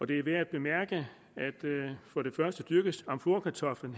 det er værd at bemærke at amflorakartoflen